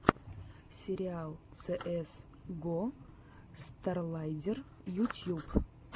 сериал цеэс го старладдер ютьюб